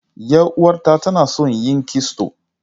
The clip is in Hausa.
Yar uwata tana son yin kisto.